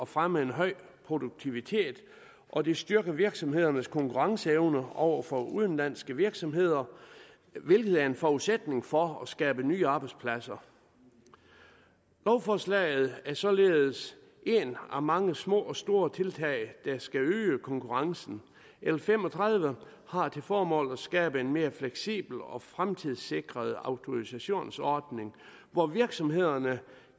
fremme en høj produktivitet og det styrker virksomhedernes konkurrenceevne over for udenlandske virksomheder hvilket er en forudsætning for at skabe nye arbejdspladser lovforslaget er således et af mange små og store tiltag der skal øge konkurrencen l fem og tredive har til formål at skabe en mere fleksibel og fremtidssikret autorisationsordning hvor virksomhederne